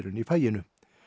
í faginu